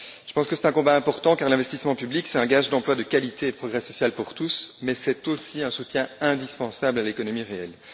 Je pense que c'est un combat important, car l'investissement public, c'est un gage d'emplois de qualité et de progrès social pour tous, mais c'est aussi un soutien indispensable à l'économie réelle.